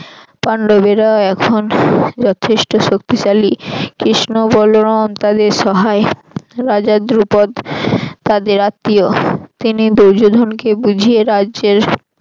পান্ডবেরা এখন যথেষ্ট শক্তিশালী কৃষ্ণ বলরাম তাদের সহায় রাজা দ্রুপদ তাদের আত্মীয় তিনি দুর্যোধনকে বুঝিয়ে রাজ্যের